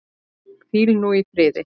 Hvíldu nú í friði.